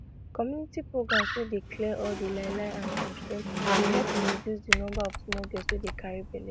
community programs wey dey clear all di lie lie and shame shame dey help to reduce di number of small girls wey dey carry belle